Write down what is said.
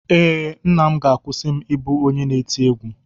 Ee, nna m ga-akwụsị m ịbụ onye na-eti egwú.